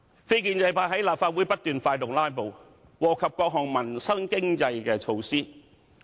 非建制派在立法會不斷發動"拉布"，禍及各項民生及經濟措施。